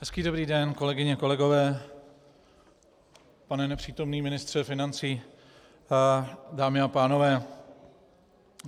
Hezký dobrý den, kolegyně, kolegové, pane nepřítomný ministře financí, dámy a pánové.